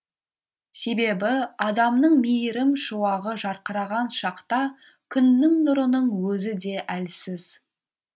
себебі адамның мейірім шуағы жарқыраған шақта күннің нұрының өзі де әлсіз